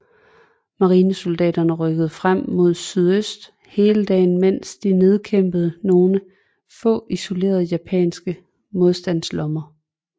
Marinesoldaterne rykkede frem mod sydøst hele dagen mens de nedkæmpede nogle få isolerede japanske modstandslommer